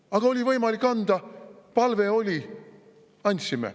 Aga oli võimalik anda, palve oli – andsime.